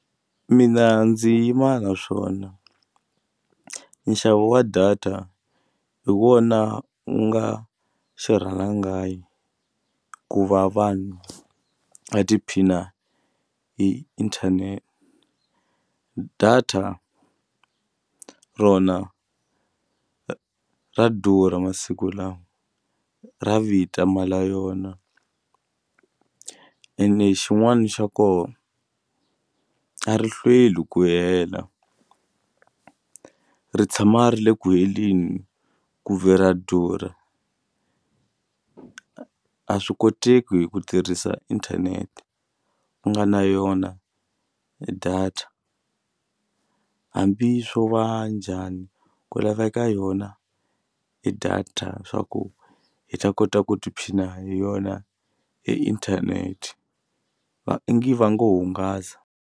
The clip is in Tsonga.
Mina ndzi yima na swona nxavo wa data hi wona wu nga xirhalanganyi ku va vanhu va tiphina hi data rona ra durha masiku lawa ra vita mali yona ene xin'wani xa ko a ri hlweli ku hela ri tshama ri le ku heleni ku ve ra durha a swi koteki hi ku tirhisa inthanete u nga na yona data hambi swo va njhani ku laveka yona e data swa ku hi ta kota ku tiphina hi yona e internet i ngi va ngo hungasa.